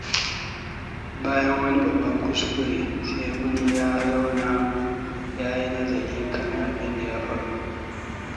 Bayan wani babban kuskure, Segun ya zauna ya yi nazari kan abin da ya faru.